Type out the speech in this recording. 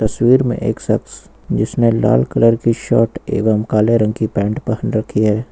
तस्वीर में एक शख्स जिसने लाल कलर की शर्ट एवं काले रंग की पैंट पहन रखी है।